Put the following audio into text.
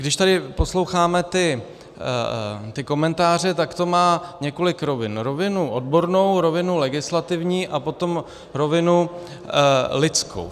Když tady posloucháme ty komentáře, tak to má několik rovin - rovinu odbornou, rovinu legislativní a potom rovinu lidskou.